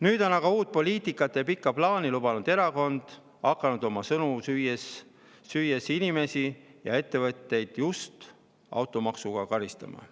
Nüüd on aga uut poliitikat ja pikka plaani lubanud erakond hakanud oma sõnu süües inimesi ja ettevõtteid just automaksuga karistama.